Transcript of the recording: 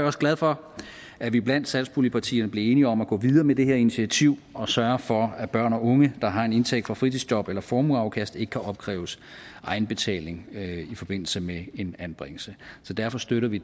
også glad for at vi blandt satspuljepartierne blev enige om at gå videre med det her initiativ og sørge for at børn og unge der har en indtægt fra fritidsjob eller formueafkast ikke kan afkræves egenbetaling i forbindelse med en anbringelse derfor støtter vi